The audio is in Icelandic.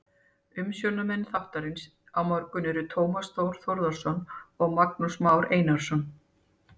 Umsjónarmenn þáttarins á morgun eru Tómas Þór Þórðarson og Magnús Már Einarsson.